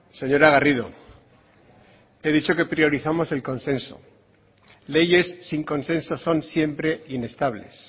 señora garrido he dicho que priorizamos el consenso leyes sin consenso son siempre inestables